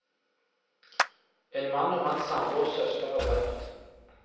En mann og hans samboers søster er drept.